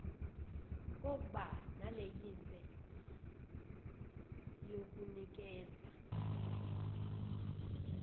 kokba nelayinse yokunikeza